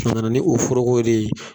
ni o forokow de ye.